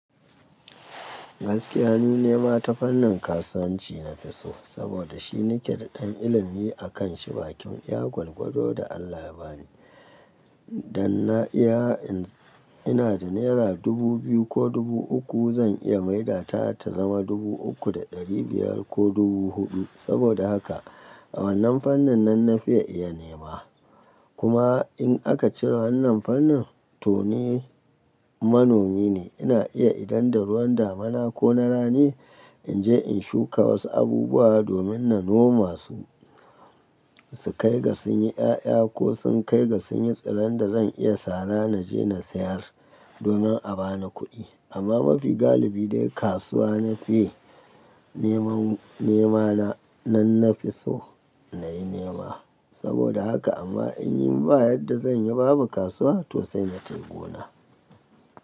Gaskiya ni ne mata fannin kasuwanci na fi so, saboda shi ni keda ɗan ilimi akan shi, bakin iya gwalgwado da Allah ya bani. Dan na iya ina da naira dubu biyu ko dubu uku zan iya maida ta ta zama dubu uku da ɗari biyar ko dubu huɗu. Saboda haka a wannan fannin nan na fi iya nema. Kuma in aka cire wannan fannin to ni manomi ne. Ina iya idan daruwan damuna ko na rani in je in shuka wasu abubuwa domin na noma su, su kai ga sun yi 'ya'ya ko sun kai ga sun yi tsiron da zan iya sara na je na sayar domin a ba ni kuɗi. Amma mafi galibi dai kasuwa na fi neman nema na, nan na fi so nayi nema. Saboda haka amma in yi ba yadda zan yi babu kasuwa to sai na tafi gona.